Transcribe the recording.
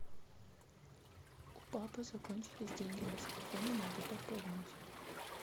у папы закончились деньги на телефоне надо пополнить